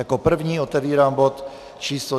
Jako první otevírám bod číslo